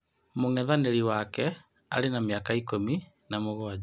Mũng'ethanĩri wake arĩ na mĩaka ikũmi na mugwanja.